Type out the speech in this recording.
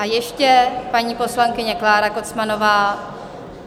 A ještě paní poslankyně Klára Kocmanová.